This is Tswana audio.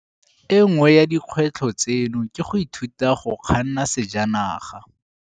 E nngwe ya dikgwetlho tseno ke go ithuta go kganna sejanaga.